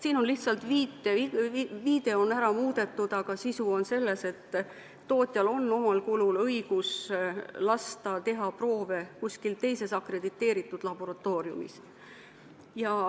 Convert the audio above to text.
Siin on lihtsalt viide ära muudetud, aga sisu on see, et tootjal on omal kulul õigus lasta teha proove mõnes teises akrediteeritud laboratooriumis.